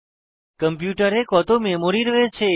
কম্পিউটারের কত মেমরি রয়েছে